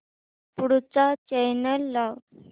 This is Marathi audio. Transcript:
पुढचा चॅनल लाव